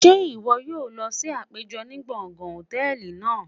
Ṣe iwọ yoo lọ si apejọ ni gbongan hòtẹ́ẹ̀lì naa?